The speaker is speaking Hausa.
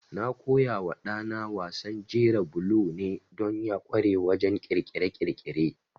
Na koyawa ɗana wasan jera bulo ne don ya ƙware wajen ƙirƙire-ƙirƙire.